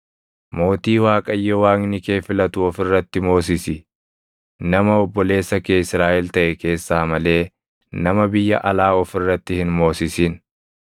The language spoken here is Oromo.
mootii Waaqayyo Waaqni kee filatu of irratti moosisi. Nama obboleessa kee Israaʼel taʼe keessaa malee nama biyya alaa of irratti hin moosisin.